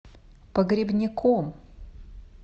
погребняком